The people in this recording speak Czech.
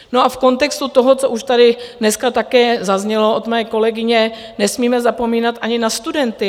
No a v kontextu toho, co už tady dneska také zaznělo od mé kolegyně, nesmíme zapomínat ani na studenty.